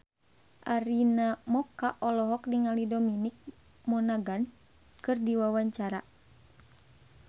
Arina Mocca olohok ningali Dominic Monaghan keur diwawancara